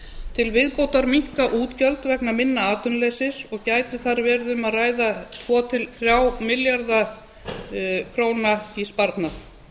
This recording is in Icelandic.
til viðbótar minnka útgjöld vegna minna atvinnuleysis og gæti þar verið um að ræða tvö til þriggja milljarða króna í sparnað